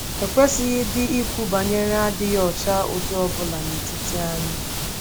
Ekwesịghịdị ikwu banyere adịghị ọcha ụdị ọ bụla n’etiti anyị.